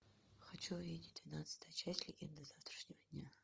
хочу увидеть двенадцатая часть легенды завтрашнего дня